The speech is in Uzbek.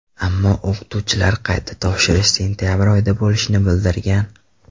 Ammo o‘qituvchilar qayta topshirish sentabr oyida bo‘lishini bildirgan.